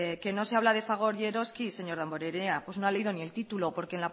que no se habla de fagor y eroski señor damborenea pues no ha leído ni el título porque